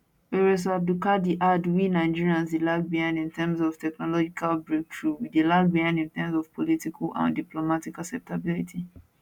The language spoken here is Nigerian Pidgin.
professor abdulkadir add we nigeria dey lag behind in terms of technological breakthrough we dey lag behind in terms of political and diplomatical acceptability